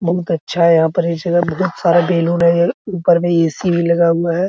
बहुत अच्छा है बहुत सारा बैलून है ऊपर में ए.सी. लगा हुआ है।